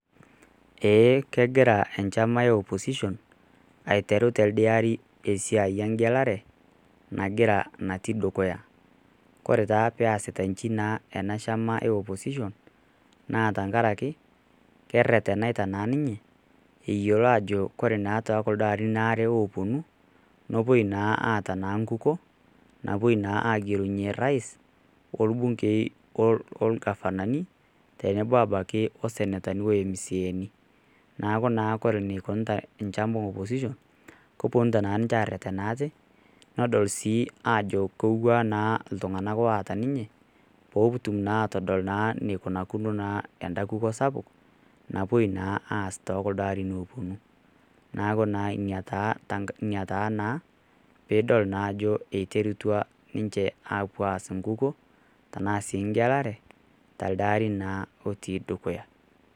Eeh kegira enchama e opposition aiteru telde ari esiai eng'elare nagira natii dukuya. Ore naa peasita inchi naa ena shama e opposition naa tenkaraki kereteneta naa ninye, eyiolo ajo ore too kuldo arin waare opuonu nepuoi naa aata enkukuo napuoi naa agelunye rais, olbungei, olgavanani tenebo abaki o senetani o emsieni. Neaku naa ore eneikunita enchama e opposition kepuonu naa ninche aretena aate peepuo naa adol aate iltung'ana aata ninye petum naa adol eneikunakino naa enda kukuo sapuk napuoi naa aas tooldo arin opuonu, neaku Ina taa naa peiterutua ninche apuo aas, enkukuo tanaa sii eng'elare telde ari naa otii dukuya.